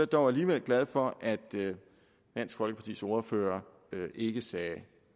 dog alligevel glad for at dansk folkepartis ordfører ikke sagde